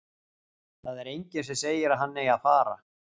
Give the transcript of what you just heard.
Það er enginn sem segir að hann eigi að fara.